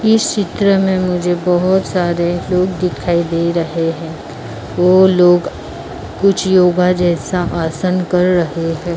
इस चित्र में मुझे बहुत सारे लोग दिखाई दे रहे हैं वो लोग कुछ योगा जैसा आसन कर रहे हैं।